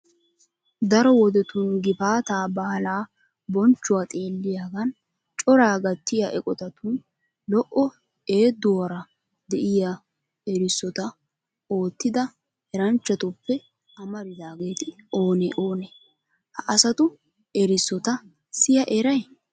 Daro wodetun gifaataa baalaa bonchchuwa xeelliyagan coraa gattiya eqotatun lo"o eeduwara de'iy erissota oottida eranchchatuppe amaridaageeti oonee oonee? Ha asatu erissota siya eray?